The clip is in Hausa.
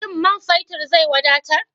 Shin man feturn zai wadatar?